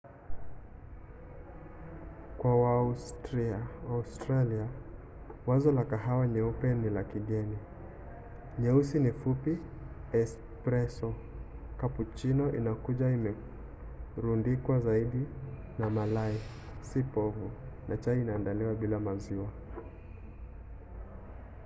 kwa waaustralia wazo la kahawa ‘nyeupe’ ni la kigeni. nyeusi fupi ni ’espresso’ cappuccino inakuja imerundikwa zaidi na malai si povu na chai inaandaliwa bila maziwa